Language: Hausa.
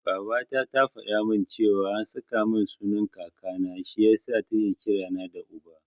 Babata ta faɗa min cewa an saka min sunan Kakana, shi yasa take kira na da Uba.